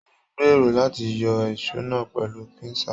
Mo n gbéró láti yọ èsó náà pẹlu pinsa.